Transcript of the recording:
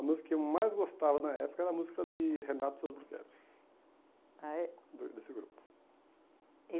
A música que eu mais gostava na época era a música de Renato e. Ah, é? De desse grupo.